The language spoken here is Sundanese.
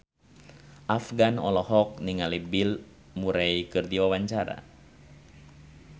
Afgan olohok ningali Bill Murray keur diwawancara